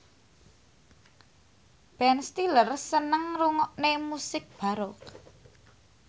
Ben Stiller seneng ngrungokne musik baroque